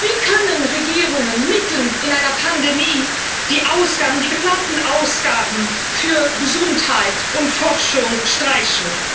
Wie können Regierungen mitten in einer Pandemie die geplanten Ausgaben für Gesundheit und Forschung streichen?